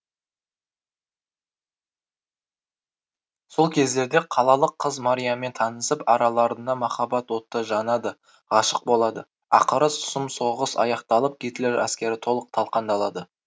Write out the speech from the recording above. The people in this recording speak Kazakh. сол кездерде қалалық қыз мариямен танысып араларында махаббат оты жанады ғашық болады ақыры сұм соғыс аяқталып гитлер әскері толық талқандалады